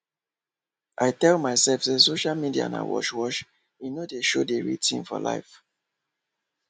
i tell myself say social media na wash wash e nor dey show d real tin for life